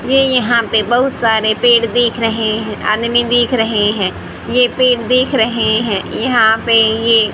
ये यहां पे बहुत सारे पेड़ दिख रहे हैं आदमी दिख रहे हैं ये पेड़ दिख रहे हैं यहां पे ये--